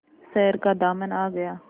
शहर का दामन आ गया